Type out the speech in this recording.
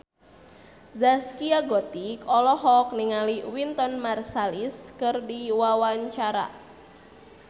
Zaskia Gotik olohok ningali Wynton Marsalis keur diwawancara